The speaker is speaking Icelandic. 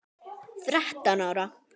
Þrettán ára?